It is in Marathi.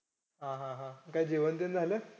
हा हा हा काय जेवण-बिवणं झालं?